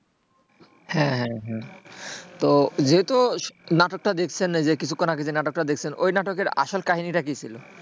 হ্যাঁ হ্যাঁ হ্যাঁ তো যেহেতু নাটকটা দেখছেন কিছুক্ষণ আগে নাটকটা দেখছেন ওই নাটকের আসল কাহিনিটা কি ছিল?